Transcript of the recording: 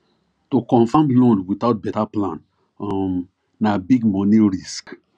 to confirm loan without better plan um na big money risk